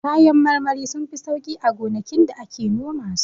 Kayan marmari sunfi sauƙi a gonakin da ake noma su.